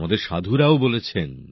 আমাদের সাধুরাও বলেছেন